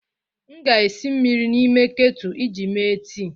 M ga-esi mmiri n'ime ketu iji mee tii.